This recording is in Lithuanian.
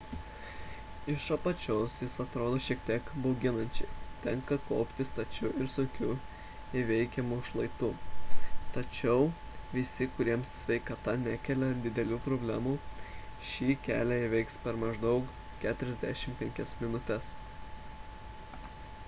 iš apačios jis atrodo šiek tiek bauginančiai tenka kopti stačiu ir sunkiai įveikiamu šlaitu tačiau visi kuriems sveikata nekelia didelių problemų šį kelią įveiks per maždaug 45 minutes